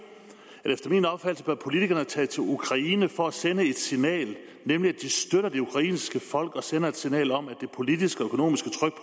efter min opfattelser bør politikerne tage til ukraine for at sende et signal nemlig at de støtter det ukrainske folk og sender et signal om at det politiske og økonomiske tryk